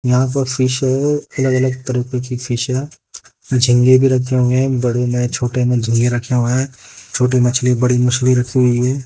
यहां पर फिश है अलग अलग तरह के भी फिश हैं झिग्गे भी रखे हुए हैं बड़े में छोटे में झिखेंगे रखे हुए हैं छोटी मछली बड़ी मछली रखी हुई है।